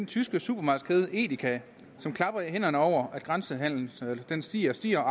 tyske supermarkedskæde edeka som klapper i hænderne over at grænsehandelen stiger og stiger og